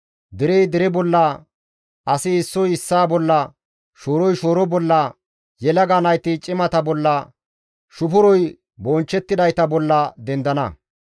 Derey dere bolla, asi issoy issaa bolla, shooroy shooro bolla, yelaga nayti cimata bolla, shufuroy bonchchettidayta bolla dendana.